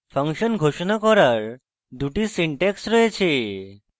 function ঘোষণা করার দুটি সিনট্যাক্স রয়েছে